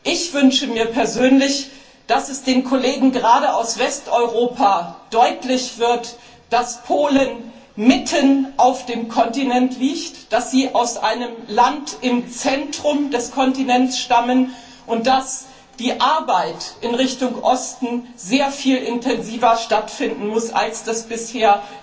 Ich wünsche mir persönlich, dass gerade den Kollegen aus Westeuropa deutlich wird, dass Polen mitten auf dem Kontinent liegt, dass Sie aus einem Land im Zentrum des Kontinents stammen und dass die Arbeit in Richtung Osten sehr viel intensiver erfolgen muss als bisher.